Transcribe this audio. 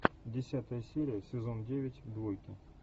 десятая серия сезон девять двойки